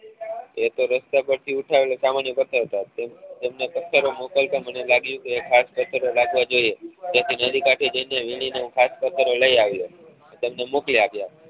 એક તો રસ્તા પર થી ઉઠાવેલા સામાન્ય પત્થર ઓ હતા તે તેમને પત્થરો મોકલતા મને લાગ્યું કે ખાસ પત્થરો હોવા જોઈએ જેથી નદી કાંઠે જઈ ને વીણી ને હું ખાસ પત્થરો લઇ આવ્યો ને તમને મોકલી આપ્યા